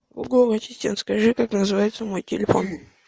гугл ассистент скажи как называется мой телефон